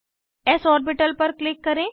S orbital पर click करें